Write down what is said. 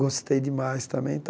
Gostei demais também e tal.